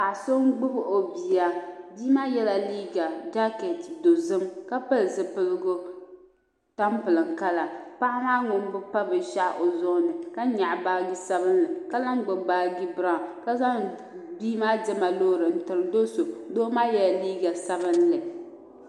Paɣa so n gbubi o bia bia maa yɛla liiga jakɛt dozim ka pili zipiligu tampilim kala paɣa maa ŋun bi pa binshaɣu o zuɣu ni ka nyaɣi baaji sabinli ka lan gbubi baaji birawu ka zaŋ bia maa dɛma loori n tiri doo so doo maa yɛla liiga sabinli.